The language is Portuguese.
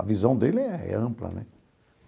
A visão dele é é ampla, né?